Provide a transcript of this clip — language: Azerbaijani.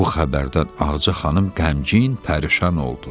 Bu xəbərdən Ağca xanım qəmgin, pərişan oldu.